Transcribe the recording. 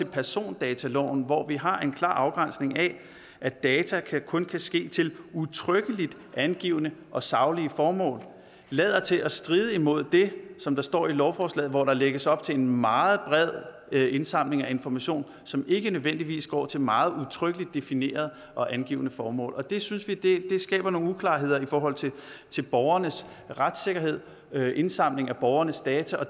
persondataloven hvor vi har en klar afgrænsning af at data kun kan ske til udtrykkeligt angivne og saglige formål lader til at stride imod det som der står i lovforslaget hvor der lægges op til en meget bred indsamling af information som ikke nødvendigvis går til meget udtrykkeligt definerede og angivne formål og det synes vi skaber nogle uklarheder i forhold til borgernes retssikkerhed indsamling af borgernes data og